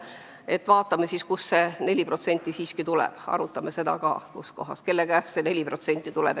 Aga vaatame, kust see 4% ikkagi tuleb, arutame seda ka, kust kohast, kelle käest see 4% tuleb!